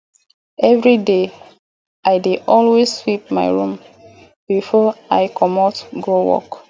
evriday i dey always sweep my room bifor i comot go work